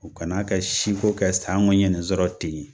U kana kɛ siko kɛ sanko n ye ni sɔrɔ ten yen